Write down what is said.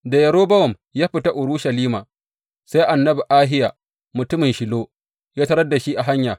Da Yerobowam ya fita Urushalima, sai annabi Ahiya, mutumin Shilo ya tarar da shi a hanya.